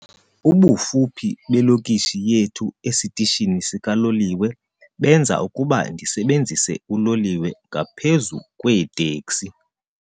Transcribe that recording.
Ubufuphi belokishi yethu esitishini sikaloliwe benza ukuba ndisebenzise uloliwe ngaphezu kweeteksi.